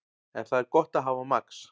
En það er gott að hafa Max.